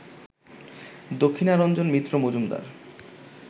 Dakshinaranjan Mitra Majumdar